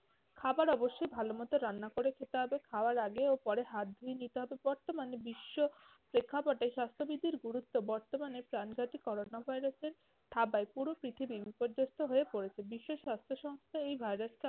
খাবার অবশ্যই ভালোমতো রান্না করে খেতে হবে। খাওয়ার আগে ও পরে হাত ধুয়ে নিতে হবে। বর্তমানে বিশ্ব প্রেক্ষাপটে স্বাস্থ্যবিধির গুরুত্ব বর্তমানে প্রাণঘাতী করোনা virus এর থাবায় পুরো পৃথিবী বিপর্যস্ত হয়ে পড়েছে। বিশ্ব স্বাস্থ্য সংস্থা এই virus কে